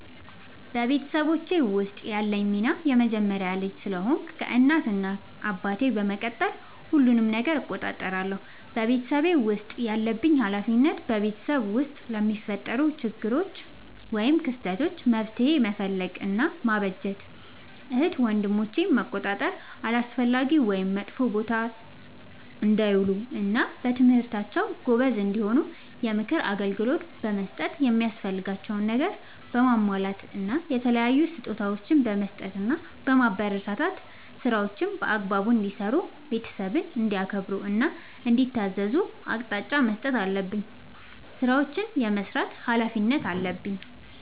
በቤተሰቦቼ ውስጥ ያለኝ ሚና የመጀመሪያ ልጅ ስለሆንኩ ከእናት እና አባቴ በመቀጠል ሁሉንም ነገር እቆጣጠራለሁ። በቤተሰቤ ውስጥ ያለብኝ ኃላፊነት በቤተሰብ ውስጥ ለሚፈጠሩ ክስተቶች ÷ችግሮች መፍትሄ መፈለግ እና ማበጀት ÷ እህት ወንድሞቼን መቆጣጠር አላስፈላጊ ወይም መጥፎ ቦታ እንዳይውሉ እና በትምህርታቸው ጎበዝ እንዲሆኑ የምክር አገልግሎት በመስጠት የሚያስፈልጋቸውን ነገር በማሟላት እና የተለያዩ ስጦታዎችን በመስጠትና በማበረታታት ÷ ስራዎችን በአግባቡ እንዲሰሩ ÷ ቤተሰብን እንዲያከብሩ እና እንዲታዘዙ አቅጣጫ መስጠት አለብኝ። ስራዎችን የመስራት ኃላፊነት አለብኝ።